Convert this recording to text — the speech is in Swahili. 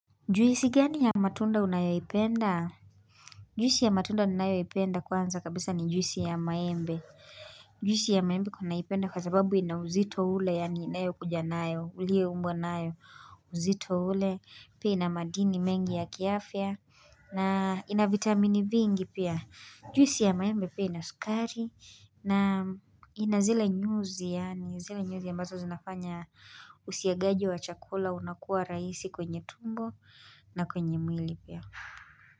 Juisi gani ya matunda unayoiipenda? Juisi ya matunda ninayoiipenda kwanza kabisa ni juisi ya maembe. Juisi ya maembe kunaipenda kwa sababu ina uzito ule, yani inayokuja nayo, ulie umbwa nayo. Uzito ule, pia ina madini mengi ya kiafya, na ina vitamini vingi pia. Juisi ya maembe pia ina sukari, na ina zile nyuzi, yaani zile nyuzi ambazo zinafanya usiagaji wa chakula unakuwa raisi kwenye tumbo. Na kwenye mwili pia.